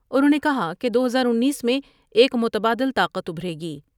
انہوں نے کہا کہ دو ہزار انیس میں ایک متبادل طاقت ابھرے گی ۔